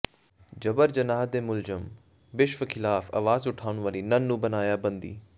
ਜਬਰ ਜਨਾਹ ਦੇ ਮੁਲਜ਼ਮ ਬਿਸ਼ਪ ਖ਼ਿਲਾਫ਼ ਆਵਾਜ਼ ਉਠਾਉਣ ਵਾਲੀ ਨਨ ਨੂੰ ਬਣਾਇਆ ਬੰਦੀ